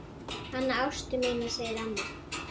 Hana Ástu mína segir amma.